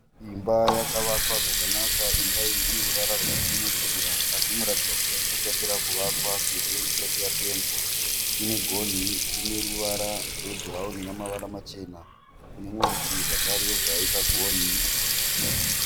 Imba yakavakwa zvakanaka. Imba iyi ine ruvara rwakachenerukira asi inoratidza kuti haisati yapera kuvakwa sezvo isati yapendwa. Ine gonhi rine ruvara rwebhurawuni nemavara machena. Kune rumwe rutivi zvakare yobva yaita gonhi.